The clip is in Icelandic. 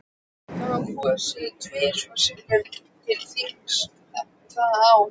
Það var kosið tvisvar sinnum til þings það ár.